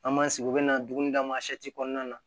An m'an sigi u bɛna dumuni d'an ma kɔnɔna na